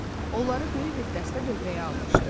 Onları böyük bir dəstə dövrəyə almışdı.